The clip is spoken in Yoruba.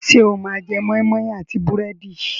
Ṣé o máa jẹ moi moi àti búrẹ́dì?